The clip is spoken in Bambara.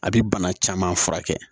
A bɛ bana caman furakɛ